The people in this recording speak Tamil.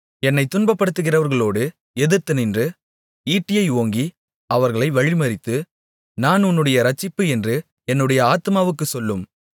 என்னைத் துன்பப்படுத்துகிறவர்களோடு எதிர்த்து நின்று ஈட்டியை ஓங்கி அவர்களை வழிமறித்து நான் உன்னுடைய இரட்சிப்பு என்று என்னுடைய ஆத்துமாவுக்குச் சொல்லும்